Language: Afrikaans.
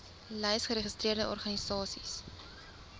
lys geregistreerde organisasies